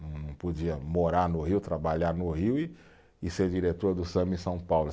Não, não podia morar no Rio, trabalhar no Rio e, e ser diretor do samba em São Paulo.